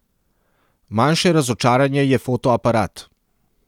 Manjše razočaranje je fotoaparat.